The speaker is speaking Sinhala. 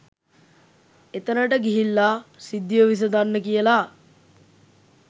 එතැනට ගිහිල්ලා සිද්ධිය විසඳන්න කියලා